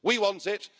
we want.